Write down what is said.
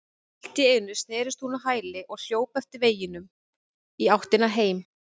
Allt í einu snerist hún á hæli og hljóp eftir veginum í áttina heim.